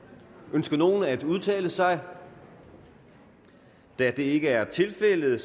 ønsker nogen at udtale sig da det ikke er tilfældet